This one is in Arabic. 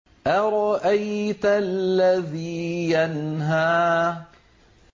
أَرَأَيْتَ الَّذِي يَنْهَىٰ